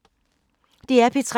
DR P3